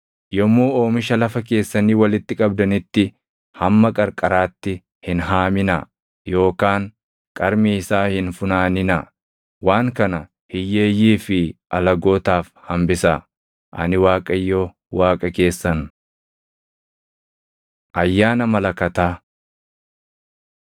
“ ‘Yommuu oomisha lafa keessanii walitti qabdanitti hamma qarqaraatti hin haaminaa yookaan qarmii isaa hin funaaninaa; waan kana hiyyeeyyii fi alagootaaf hambisaa. Ani Waaqayyo Waaqa keessan.’ ” Ayyaana Malakataa 23:23‑25 kwf – Lak 29:1‑6